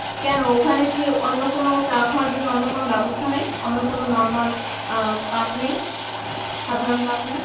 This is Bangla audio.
কেন ওখানে কি অন্য কোন চা খাওয়ার জন্য অন্য কোন ব্যবস্থা নেই অন্য কোন normal আহ কাপ নেই সাধারণ কাপ নেই